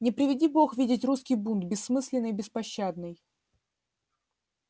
не приведи бог видеть русский бунт бессмысленный и беспощадный